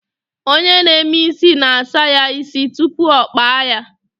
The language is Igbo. Onye na-eme isi na-asa ya isi tupu ọ kpaa ya